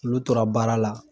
Olu tora baara la